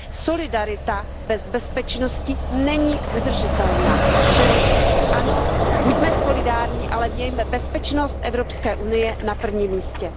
Solidarita bez bezpečnosti není udržitelná, čili ano, buďme solidární, ale mějme bezpečnost Evropské unie na prvním místě.